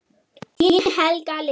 Þín, Helga Lind.